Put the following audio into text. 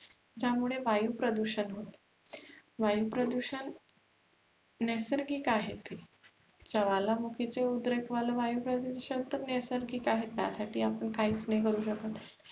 ज्यामुळे वायु प्रदुषण होते वायु प्रदुषण नैसर्गिक आहे ते ज्वालामुखी चे उद्रेक होयला वायु प्रदुषण तर नैसर्गिक आहे त्यासाठी आपण काहीच नाही करु शकत